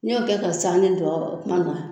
Ni y'o kɛ ka san nen dɔ o kuma na